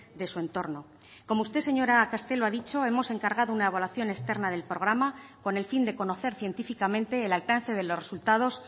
de su entorno como usted señora castelo ha dicho hemos encargado una evaluación externa del programa con el fin de conocer científicamente el alcance de los resultados